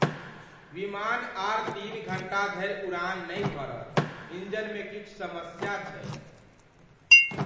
विमान आर तीन घण्टा धरि उड़ान नहि भरत। इंजनमे किछु समस्या छैक ।